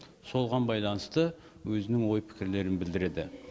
солған байланысты өзінің ой пікірлерін білдіреді